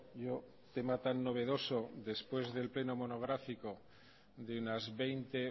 yo tema tan novedoso después del pleno monográfico de unas veinte